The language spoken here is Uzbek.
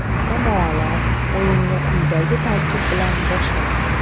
Jamoalar o‘yinni quyidagi tarkib bilan boshlaydi.